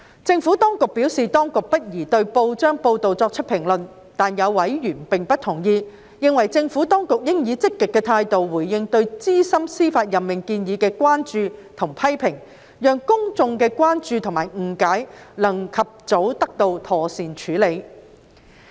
政府當局表示，當局不宜對報章報道作出評論，但有委員並不同意，認為政府當局應以積極的態度回應對於資深司法任命建議的關注或批評，讓公眾的關注或誤解能及早得到妥善處理。